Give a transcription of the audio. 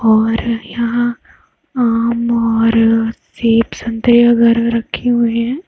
--और यहा आम और सेब संतरे वगैरा रखे हुए हैं।